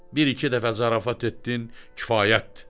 Bir iki dəfə zarafat etdin, kifayətdir.